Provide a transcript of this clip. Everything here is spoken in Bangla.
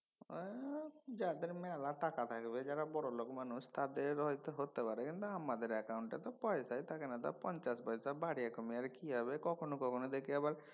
আহ যাদের মেলা টাকা থাকবে যারা বড়োলোক মানুষ তাদের হয়ত হতে পারে আমাদের অ্যাকাউন্ট এ তো পয়সাই থাকেনা। তাতে পঞ্চাশ পয়সা বাড়িয়ে কমিয়ে আর কি হবে। কখনও কখনও দেখি আবার